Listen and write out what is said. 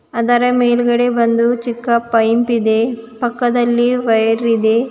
ಅದರ ಮೇಲ್ಗಡೆ ಬಂದು ಚಿಕ್ಕ ಪೈಪ್ ಇದೆ ಪಕ್ಕದಲ್ಲಿ ವೈರ್ ಇದೆ.